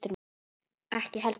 Ekki heldur